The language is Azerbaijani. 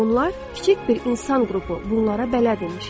Onlar kiçik bir insan qrupu bunlara bələd imiş.